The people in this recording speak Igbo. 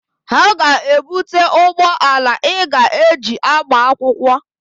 Ha ga-ebute ụgbọala Ị ga-eji agba akwụkwọ.